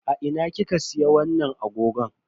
A ina kika siya wannan agogon?